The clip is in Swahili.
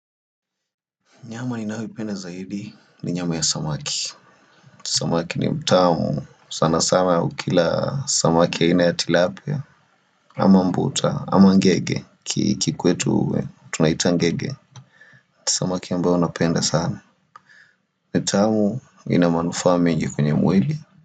Nyama ninayoipenda zaidi ni nyama ya samaki. Samaki ni mtamu. Sana sana ukila samaki aina ya tilapia ama mbuta. Ama ngege kikwetu tunaita ngege. Samaki ambayo napenda sana. Mtamu inamanufaa mengi kwenye mwili.